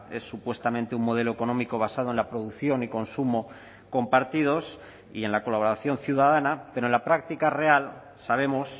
es supuestamente un modelo económico basado en la producción y consumo compartidos y en la colaboración ciudadana pero en la práctica real sabemos